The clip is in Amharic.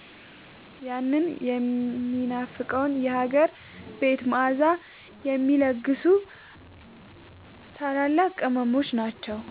ያንን የሚናፈቀውን የሀገር ቤት መዓዛ የሚለግሱ ታላላቅ ቅመሞች ናቸው።